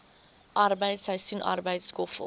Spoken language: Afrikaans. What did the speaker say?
arbeid seisoensarbeid skoffel